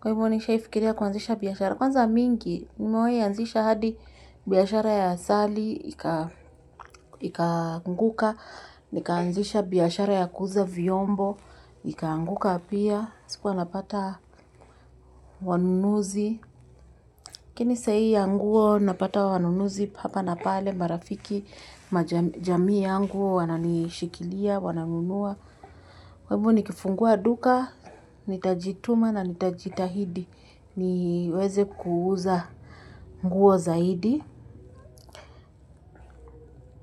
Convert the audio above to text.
kwa hivyo nishahi fikiria kuanzisha biashara, kwanza mingi. Nimewahi anzisha hadi biashara ya asali ikaanguka. Nikaanzisha biashara ya kuuza vyombo, ikaanguka pia sikuwa napata wanunuzi, lakini sahii ya nguo napata wanunuzi hapa na pale, marafiki, jamii yangu wananishikilia wananunua. Kwa hivyo nikifungua duka, nitajituma na nitajitahidi. Niweze kuuza nguo zaidi.